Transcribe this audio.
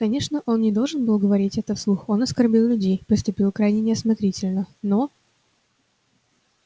конечно он не должен был говорить этого вслух он оскорбил людей поступил крайне неосмотрительно но